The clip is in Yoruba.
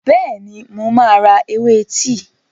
Bẹ́ẹ̀ni, mo máa ra ewé tíì.